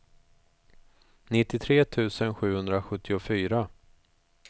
nittiotre tusen sjuhundrasjuttiofyra